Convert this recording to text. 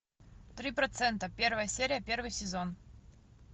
три процента первая серия первый сезон